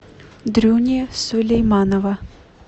дрюни сулейманова